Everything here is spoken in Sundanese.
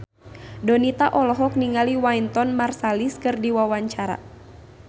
Donita olohok ningali Wynton Marsalis keur diwawancara